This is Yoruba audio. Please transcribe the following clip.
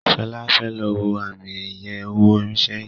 Shola fè ló wọ Ààmì iye owó irinṣẹ́ yí.